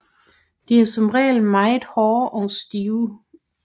De er som regel meget hårde og stive